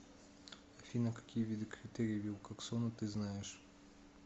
афина какие виды критерий вилкоксона ты знаешь